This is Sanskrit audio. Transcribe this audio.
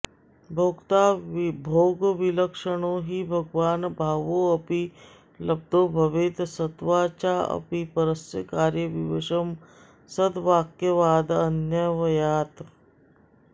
भोक्ता भोगविलक्षणो हि भगवान् भावोऽपि लब्धो भवेत् सत्त्वाच्चापि परस्य कार्यविवशं सद्वाक्यवादान्वयात्